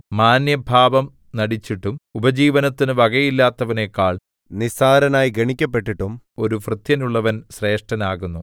മാന്യഭാവം നടിച്ചിട്ടും ഉപജീവനത്തിന് വകയില്ലാത്തവനെക്കാൾ നിസ്സാരനായി ഗണിക്കപ്പെട്ടിട്ടും ഒരു ഭൃത്യനുള്ളവൻ ശ്രേഷ്ഠൻ ആകുന്നു